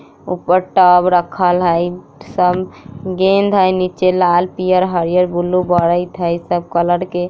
ऊपर टब रखल हेय सब गेंद है नीचे लाल पीयर हरियर ब्लू बैरेत है सब कलर के --